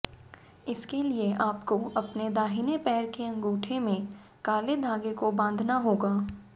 इसके लिए आपको अपने दाहिने पैर के अंगूठे में काले धागे को बांधना होगा